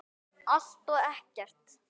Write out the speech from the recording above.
Allt og ekkert